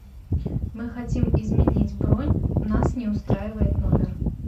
мы хотим изменить бронь нас не устраивает номер